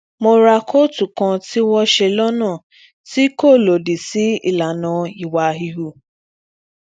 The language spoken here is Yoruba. mo ra kóòtù kan tí wón ṣe lónà tí kò lòdì sí ìlànà ìwà híhù